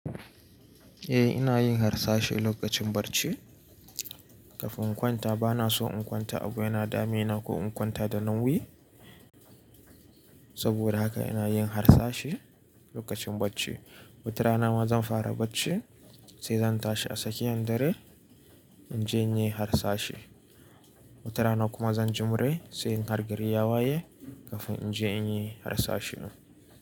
Eh ina yin harsashi lokacin barci kafin in kwanta. Bana son in kwanta abu yana, damina ko in kwanta da nauyi. Saboda haka ina yin harsashi lokacin bacci. Wutarana ma zan fara bacci sai zan tashi a tsakiyan dare in je in yi harsashi. Wutarana kuma zan jimre sai in hargari ya waye kafin in je in yi harsashi.